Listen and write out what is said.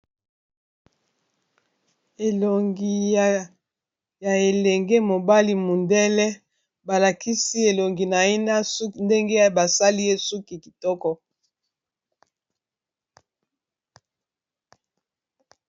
Elongi ya elenge mobali mundele balakisi elongi naye ndenge basali ye suki kitoko.